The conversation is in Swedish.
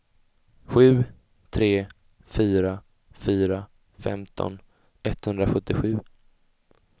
sju tre fyra fyra femton etthundrasjuttiosju